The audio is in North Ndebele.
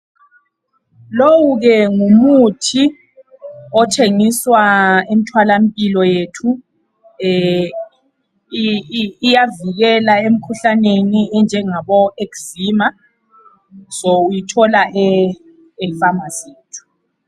Lowu ke ngumuthi othengiswa emtholampilo yethu. Iyavikela imikhuhlaneni enjengabo eczema. Uyithola efamasi.